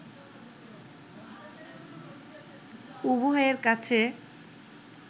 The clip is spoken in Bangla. উভয়ের কাছে